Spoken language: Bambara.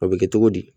O bɛ kɛ cogo di